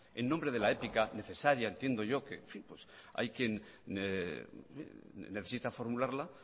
en nombre de la ética necesaria entiendo yo hay quien necesita formularla